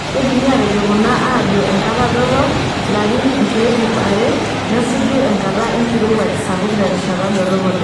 Keidimi aatejo kuna ajo enkata dorop[larin nkeek iip are]nesuju enkata enkirowuaj sapuk terishat dorop oleng'.